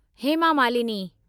Hema Malini